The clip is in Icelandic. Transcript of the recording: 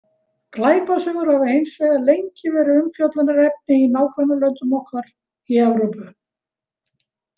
Glæpasögur hafa hins vegar lengi verið umfjöllunarefni í nágrannalöndum okkar í Evrópu.